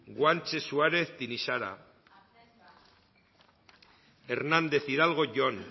guanche suárez tinixara hernández hidalgo jon